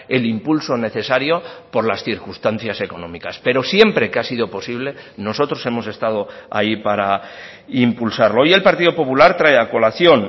el impulso necesario por las circunstancias económicas pero siempre que ha sido posible nosotros hemos estado ahí para impulsarlo hoy el partido popular trae a colación